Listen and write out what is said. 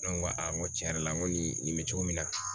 Ne ŋo ŋo tiɲɛ yɛrɛ la ŋo nin nin bɛ cogo min na